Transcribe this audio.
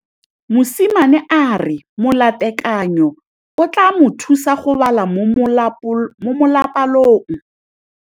Mosimane a re molatekanyô o tla mo thusa go bala mo molapalong.